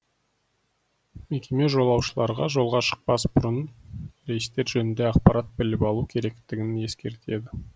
мекеме жолаушыларға жолға шықпас бұрын рейстер жөнінде ақпарат біліп алу керектігін ескертеді